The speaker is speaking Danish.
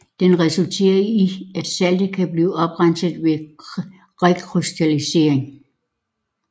Den resulterer i at saltet kan blive oprenset ved rekrystallisering